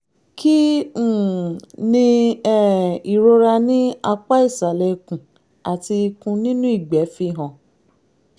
kí um ni um ìrora ní apá ìsàlẹ̀ ikùn àti ikun nínú ìgbẹ́ fihàn?